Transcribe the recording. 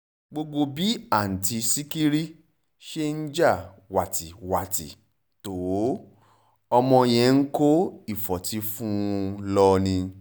gbogbo bí àtúntì sìkẹ̀rì ṣe ń ja wátìwátì tó ọmọ yẹn ń kó ìfọ́tí fún un lọ ni